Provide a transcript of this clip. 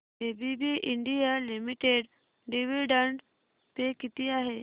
ABB India limited dividend pay किती आहे